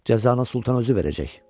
Cəzanı sultan özü verəcək.